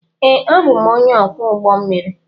Ee, abụ m onye ọkwọ ụgbọ mmiri.